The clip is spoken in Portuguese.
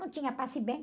Não tinha passe bem.